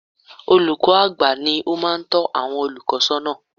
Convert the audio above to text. Olùkọ́ àgbà ni ó máa ń tọ́ àwọn olùkọ́ sọ́nà